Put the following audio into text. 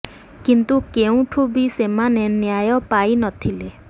କିନ୍ତୁ କେଉଁଠୁ ବି ସେମାନେ ନ୍ୟାୟ ପାଇ ନ ଥିଲେ